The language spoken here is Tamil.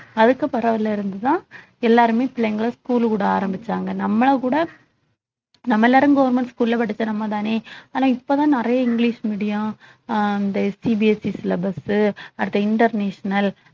அதுக்கு புறவுல இருந்து தான் எல்லாருமே பிள்ளைங்களை school ல விட ஆரம்பிச்சாங்க நம்மள கூட நம்ம எல்லாரும் government school ல படிச்ச நம்மதானே ஆனா இப்பதான் நிறைய இங்கிலிஷ் medium அ அந்த CBSE syllabus சு அடுத்து international